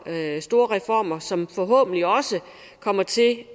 store reformer som forhåbentlig også kommer til at